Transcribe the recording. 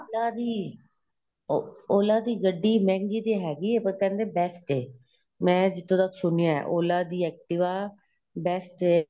ਨਾ ਜੀ OLA ਦੀ ਗੱਡੀ ਮਹਿੰਗੀ ਤੇ ਹੈਗੀ ਏ ਪਰ ਕਹਿੰਦੇ best ਏ ਮੈਂ ਜਿਥੋ ਤੱਕ ਸੁਣਿਆ OLA ਦੀ activa best ਏ